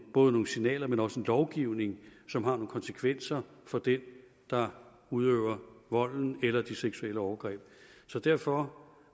både nogle signaler men også en lovgivning som har nogle konsekvenser for den der udøver volden eller de seksuelle overgreb så derfor